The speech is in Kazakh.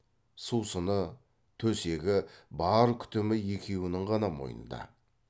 сусыны төсегі бар күтімі екеуінің ғана мойнында